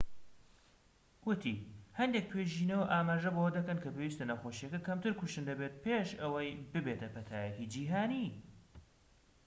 ووتی هەندێک توێژینەوە ئاماژە بەوە دەکەن کە پێویستە نەخۆشیەکە کەمتر کوشندە بێت پێش ئەوەی ببێتە پەتایەکی جیھانی